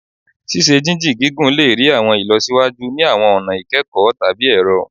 Ṣiṣe-jinjin gigun le rii awọn ilọsiwaju ni awọn ọna ikẹkọ tabi ẹrọ